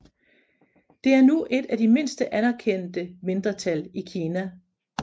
Det er nu et af de mindste anerkendte mindretal i Kina